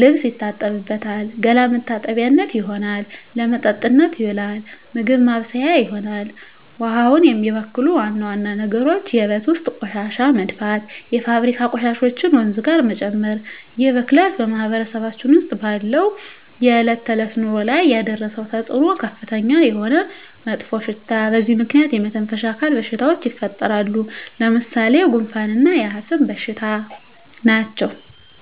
ልብስ ይታጠብበታል፣ ገላ መታጠቢያነት ይሆናል። ለመጠጥነት ይውላል፣ ምግብ ማብሠያ ይሆናል። ውሃውን የሚበክሉ ዋና ዋና ነገሮች የቤት ውስጥ ቆሻሻ መድፋት፣ የፋብሪካ ቆሻሾችን ወንዙ ጋር መጨመር ይህ ብክለት በማህበረሰባችን ውስጥ ባለው የዕለት ተዕለት ኑሮ ላይ ያደረሰው ተፅኖ ከፍተኛ የሆነ መጥፎሽታ በዚህ ምክንያት የመተነፈሻ አካል በሽታዎች ይፈጠራሉ። ለምሣሌ፦ ጉንፋ እና የአስም በሽታ ናቸው።